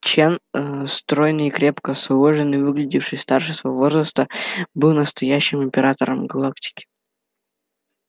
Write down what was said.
чен стройный и крепко сложенный выглядевший старше своего возраста был настоящим императором галактики